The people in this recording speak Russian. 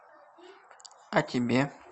а тебе